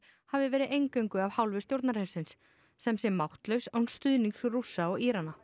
hafi verið eingöngu af hálfu stjórnarhersins sem sé máttlaus án stuðnings Rússa og Írana